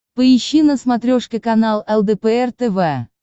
поищи на смотрешке канал лдпр тв